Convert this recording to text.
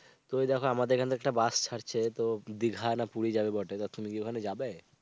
তুমি দেখো আমাদের এখান থেকে একটা বাস ছাড়ছে, তো দিঘা না পুরি যাবে বটে, তা তুমি কি ওখানে যাবে?